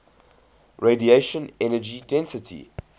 radiation energy density